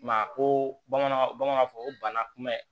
Ma ko bamananw bamananw b'a fɔ ko bana kunbɛ